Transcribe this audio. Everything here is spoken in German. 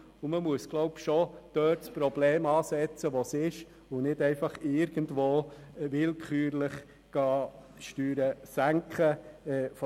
Das Problem sollte dort angegangen werden, wo es sich tatsächlich befindet, und nicht mit willkürlichen Steuersenkungen.